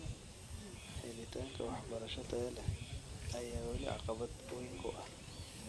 Helitaanka waxbarasho tayo leh ayaa weli caqabad weyn ku ah.